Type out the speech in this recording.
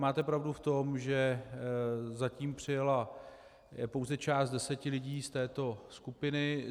Máte pravdu v tom, že zatím přijela pouze část deseti lidí z této skupiny.